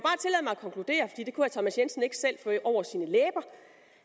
thomas jensen ikke selv få over sine læber